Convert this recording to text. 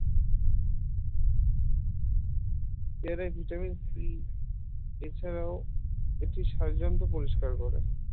পেয়ারায় vitamin c এছাড়াও এটি পরিষ্কার করে